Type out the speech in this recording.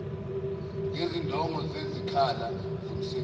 ngezidingo zezikhala zomsebenzi